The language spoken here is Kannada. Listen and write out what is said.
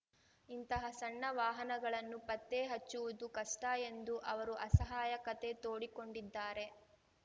ಇಂತಹ ಸಣ್ಣ ವಾಹನಗಳನ್ನು ಪತ್ತೆ ಹಚ್ಚುವುದು ಕಷ್ಟಎಂದೂ ಅವರು ಅಸಹಾಯಕತೆ ತೋಡಿಕೊಂಡಿದ್ದಾರೆ